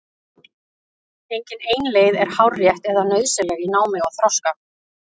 Engin ein leið er hárrétt eða nauðsynleg í námi og þroska.